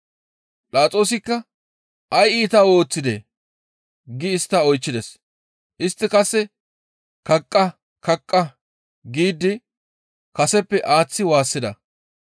Philaxoosikka, «Ay iita ooththidee?» gi istta oychchides. Istti qasse, «Kaqqa! kaqqa!» giidi kaseppe aaththi waassida.